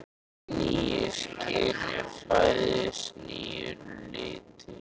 Í nýju skini fæðist nýr litur.